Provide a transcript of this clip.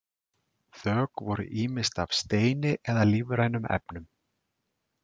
Þök voru ýmist af steini eða lífrænum efnum.